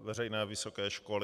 veřejné vysoké školy.